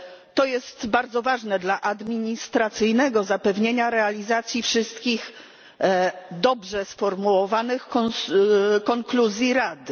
To jest bardzo ważne dla administracyjnego zapewnienia realizacji wszystkich dobrze sformułowanych konkluzji Rady.